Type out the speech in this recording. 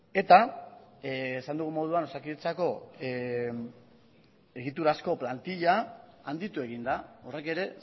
eta esan dugun moduan osakidetzako egiturazko plantilla handitu egin da horrek ere